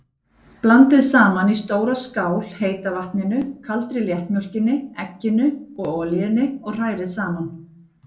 Blandið saman í stóra skál heita vatninu, kaldri léttmjólkinni, egginu og olíunni og hrærið saman.